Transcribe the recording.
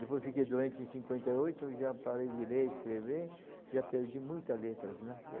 Depois fiquei doente em cinquenta e oito, já parei de ler, escrever, já perdi muitas letras, né.